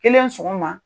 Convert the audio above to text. Kelen sɔgɔma